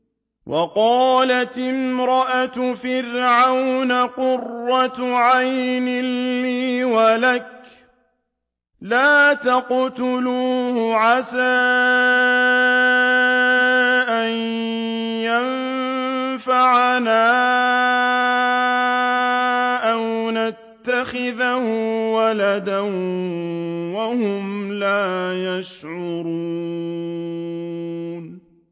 وَقَالَتِ امْرَأَتُ فِرْعَوْنَ قُرَّتُ عَيْنٍ لِّي وَلَكَ ۖ لَا تَقْتُلُوهُ عَسَىٰ أَن يَنفَعَنَا أَوْ نَتَّخِذَهُ وَلَدًا وَهُمْ لَا يَشْعُرُونَ